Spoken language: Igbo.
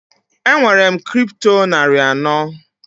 Enwere m Kripto narị anọ.